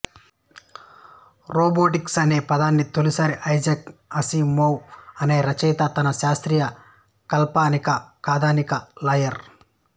robotics అనే పదాన్ని తొలిసారి ఐజాక్ అసిమావ్ అనే రచయిత తన శాస్త్రీయ కాల్పనిక కథానిక లయర్